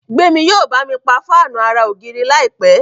Gbemi yíò bámi pá Fáànù àrà ògiri láìpé.